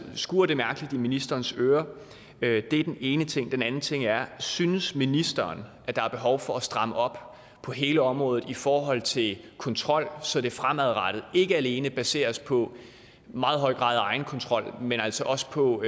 skurrer det mærkeligt i ministerens øre det er den ene ting den anden ting er synes ministeren at der er behov for at stramme op på hele området i forhold til kontrol så det fremadrettet ikke alene baseres på en meget høj grad af egenkontrol men altså også på